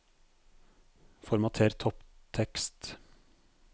Formater topptekst